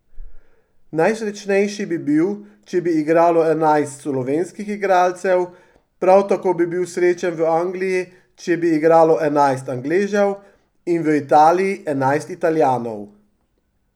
Najsrečnejši bi bil, če bi igralo enajst slovenskih igralcev, prav tako bi bil srečen v Angliji, če bi igralo enajst Angležev, in v Italiji enajst Italijanov.